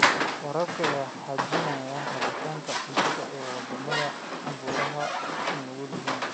Waraabka ayaa xaqiijiya helitaanka cunto ee wadamada abaaruhu u nugul yihiin.